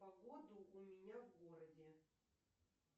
погоду у меня в городе